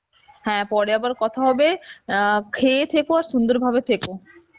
হ্যাঁ পরে আবার কথা হবে, অ্যাঁ খেয়ে থেকো আর সুন্দরভাবে থেকো